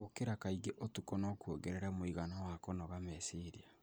Gũkĩra kaingĩ ũtukũ no kuongerere mũigana wa kũnoga meciria.